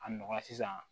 A nɔgɔya sisan